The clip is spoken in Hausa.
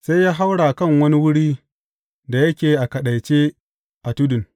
Sai ya haura kan wani wurin da yake a kaɗaice a tudun.